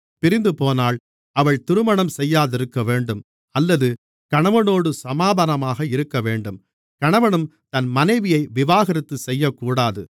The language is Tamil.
பிரிந்துபோனால் அவள் திருமணம் செய்யாதிருக்கவேண்டும் அல்லது கணவனோடு சமாதானமாகவேண்டும் கணவனும் தன் மனைவியை விவாகரத்து செய்யக்கூடாது